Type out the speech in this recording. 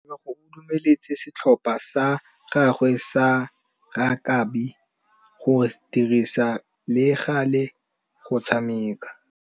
Tebogô o dumeletse setlhopha sa gagwe sa rakabi go dirisa le galê go tshameka.